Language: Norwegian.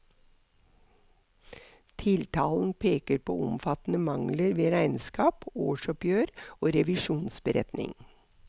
Tiltalen peker på omfattende mangler ved regnskap, årsoppgjør og revisjonsberetning.